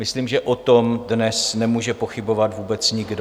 Myslím, že o tom dnes nemůže pochybovat vůbec nikdo.